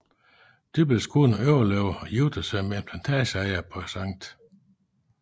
Dyppels kone overlevede og giftede sig med en plantageejer på St